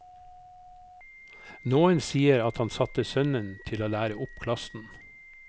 Noen sier at han satte sønnen til å lære opp klassen.